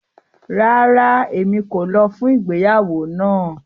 Rárá, Emi ko lọ fun igbeyawo náà